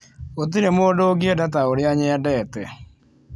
Gũtirĩ mũndũ ũngĩenda ta ũrĩa nyendete.